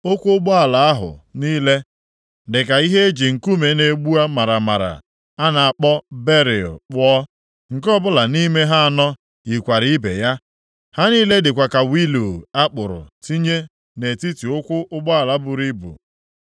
Ụkwụ ụgbọala ahụ niile dị ka ihe e ji nkume na-egbu maramara a na-akpọ beril + 1:16 Nʼakwụkwọ ụfọdụ ị ga-ahụ topaazi kpụọ. Nke ọbụla nʼime ha anọ yikwara ibe ya. Ha niile dịkwa ka wịịlu a kpụrụ tinye nʼetiti ụkwụ ụgbọala buru ibu.